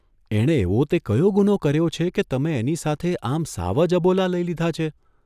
એણે એવો તે કયો ગુનો કર્યો છે કે તમે એની સાથે આમ સાવ જ અબોલા લઇ લીધા છે?